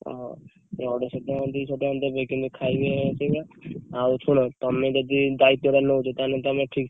ଓହୋ! ଏଇ ଅଢେଇଶହ ଟଙ୍କା ଦୁଇଶହ ଟଙ୍କା ଦେବେ କିନ୍ତୁ ଖାଇବେ, ସେଇ ଭଳିଆ ଆଉ ଶୁଣ ତମେ ଯଦି ଦାୟିତ୍ୱଟା ନଉଛ? ତାହେଲେ ତମେ ଠିକ୍‌ ଠାକ୍‌।